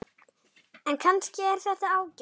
En kannski er þetta ágætt.